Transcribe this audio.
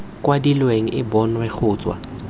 kwadilweng e bonwe go tswa